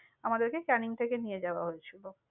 আমাদেরকে ক্যানিং থেকে নিয়ে যাওয়া হয়েছিল।